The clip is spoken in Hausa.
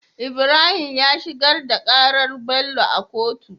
Ibrahim ya shigar da karar Bello a kotu